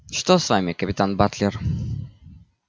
что с вами капитан батлер